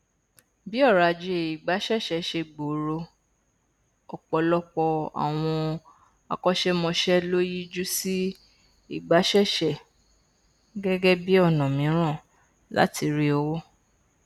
bí ọrọ ajé ìgbaṣẹṣe ṣe gbòòrò ọpọlọpọ àwọn akọṣẹmọṣẹ ló yíjú sí ìgbaṣẹṣe gẹgẹ bí ọnà mìíràn láti rí owó